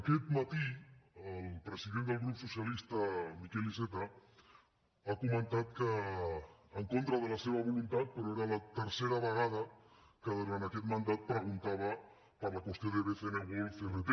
aquest matí el president del grup socialista miquel iceta ha comentat que en contra de la seva voluntat però era la tercera vegada que durant aquest mandat preguntava per la qüestió de bcn world crt